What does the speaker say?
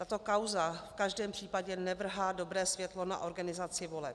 Tato kauza v každém případě nevrhá dobré světlo na organizaci voleb.